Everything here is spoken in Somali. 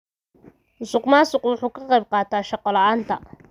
Musuqmaasuqu wuxuu ka qayb qaataa shaqo la'aanta.